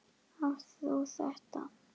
Átt þú þetta?